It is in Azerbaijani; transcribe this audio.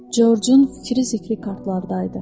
Corcun fikri zikri kartlardaydı.